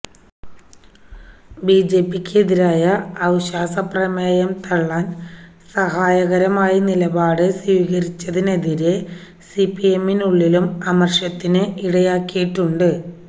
ബിജെപിക്കെതിരായ അവിശ്വാസപ്രമേയം തള്ളാൻ സഹായകരമായ നിലപാട് സ്വീകരിച്ചതിനെതിരെ സിപിഎമ്മിനുള്ളിലും അമർഷത്തിന് ഇടയാക്കിയിട്ടുണ്ട്